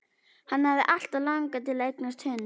Hann hafði alltaf langað til að eignast hund.